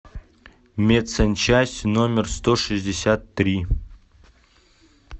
медсанчасть номер сто шестьдесят три